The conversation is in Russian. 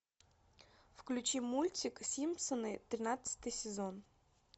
включи мультик симпсоны тринадцатый сезон